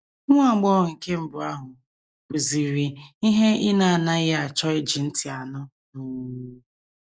Nwa agbọghọ nke mbụ ahụ kwuziri ihe ị na - anaghị achọ iji ntị anụ. um